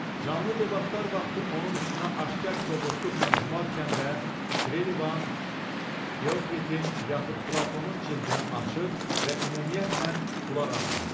Canlı debatlar vaxtı onun üstünə aşkar kobudluqla cumarkən də Trelivan Fıokritin yaxud Platonun cildini açır və ümumiyyətlə qulaq asmırdı.